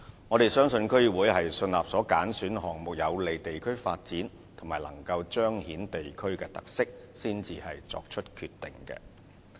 我們相信區議會是信納所揀選的項目將有利地區發展及彰顯地區特色，才作出決定。